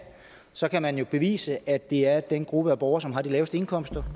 så kan man bevise at det er den gruppe af borgere som har de laveste indkomster